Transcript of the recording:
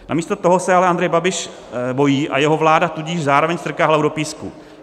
Namísto toho se ale Andrej Babiš bojí, a jeho vláda tudíž zároveň strká hlavu do písku.